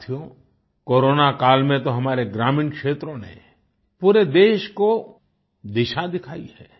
साथियो कोरोना काल में तो हमारे ग्रामीण क्षेत्रों ने पूरे देश को दिशा दिखाई है